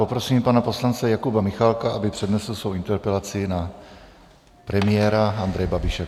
Poprosím pana poslance Jakuba Michálka, aby přednesl svou interpelaci na premiére Andreje Babiše.